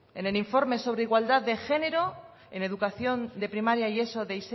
en el informe sobre igualdad de género en educación de primaria y eso de